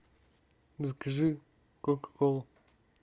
закажи кока колу